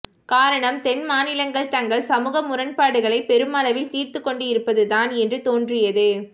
காரணம் தென்மாநிலங்கள் தங்கள் சமூக முரண்பாடுகளை பெருமளவில் தீர்த்துக் கொண்டிருப்பதுதான் என்று தோன்றியது